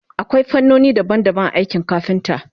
akwai fannoni daban daban a aikin kafinta